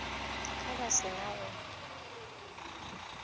ge ba se na go